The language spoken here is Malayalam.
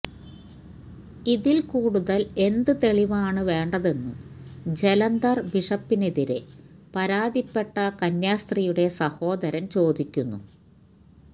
ഇതില് കൂടുതല് എന്ത് തെളിവാണ് വേണ്ടതെന്നും ജലന്ധര് ബിഷപ്പിനെതിരെ പരാതിപ്പെട്ട കന്യാസ്ത്രീയുടെ സഹോദരന് ചോദിക്കുന്നു